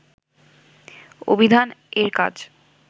অভিধান এর কাজ